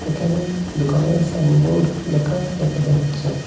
একানে দুকানের sign board লেখা দেখা যাচ্ছে।